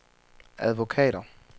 advokater